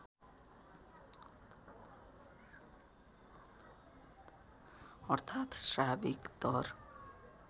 अर्थात साविक दर